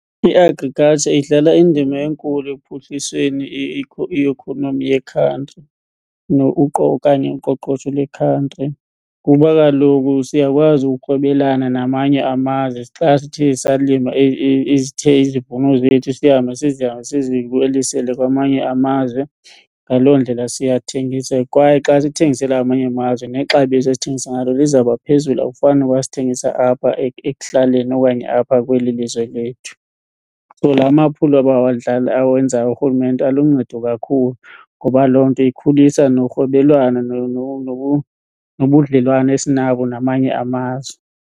I-agriculture idlala indima enkulu ekuphuhlisweni i-economy yekhantri okanye uqoqosho lwekhantri kuba kaloku siyakwazi urhwebelana namanye amazwe xa sithe salima izivuno zethu sihambe siziwelisele kwamanye amazwe ngaloo ndlela siyathengisa. Kwaye xa sithengisela amanye amazwe nexabiso esithengisa ngalo lizawuba phezulu akufani noba sithengisa apha ekuhlaleni okanye apha kweli lizwe lethu. So, la maphulo awenzayo urhulumente aluncedo kakhulu ngoba loo nto ikhulisa norhwebelwano nobudlelwane esinabo namanye amazwe.